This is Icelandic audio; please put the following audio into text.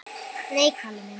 Nei, Kalli minn.